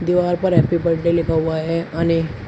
दीवार पर happy birthday लिखा हुआ है अने।